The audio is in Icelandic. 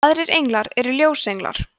aðrir englar eru ljósenglar